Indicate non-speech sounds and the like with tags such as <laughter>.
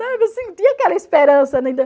<unintelligible> eu sentia aquela esperança <unintelligible>